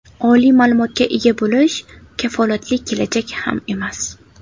Oliy ma’lumotga ega bo‘lish kafolatli kelajak ham emas!.